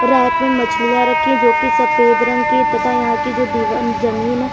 परात में मछलियाँ रखी हुई है जो की सफेद रंग की है तथा यहाँ की जो दिवा जमीन है।